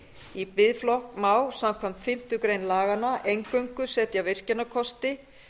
í biðflokk má samkvæmt fimmtu grein laganna eingöngu setja virkjunarkosti